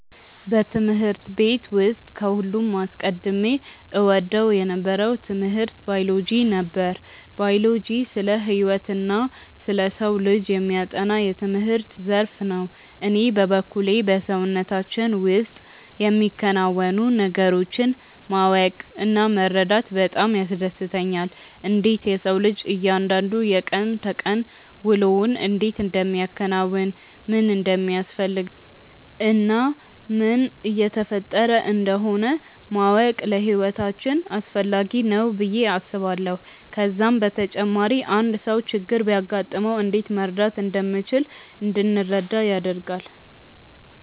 በትምህርት ቤት ውስጥ ከሁሉም አስቀድሜ እወደው የነበረው ትምህርት ባዮሎጂ ነበር። ባዮሎጂ ስለ ህይወትና ስለ ሰው ልጅ የሚያጠና የትምህርት ዘርፍ ነው። እኔ በበኩሌ በሰውነታችን ውስጥ የሚከናወኑ ነገሮችን ማወቅ እና መረዳት በጣም ያስደስተኛል። እንዴት የሰው ልጅ እያንዳንዱ የቀን ተቀን ውሎውን እንዴት እንደሚያከናውን፣ ምን እንደሚያስፈልገው እና ምን እየተፈጠረ እንደሆነ ማወቅ ለህይወታችን አስፈላጊ ነው ብዬ አስባለሁ። ከዛም በተጨማሪ አንድ ሰው ችግር ቢያጋጥመው እንዴት መርዳት እንደምንችል እንድንረዳ ያደርጋል።